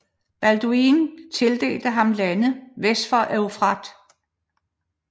Balduin tildelte ham lande vest for Eufrat